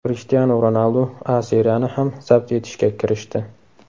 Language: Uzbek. Krishtianu Ronaldu A Seriyani ham zabt etishga kirishdi.